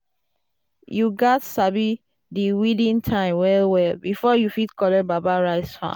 "you gats sabi di weeding time well well before you fit collect baba rice farm.”